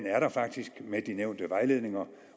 er der faktisk med de nævnte vejledninger